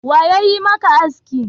Wa yayi maka aski?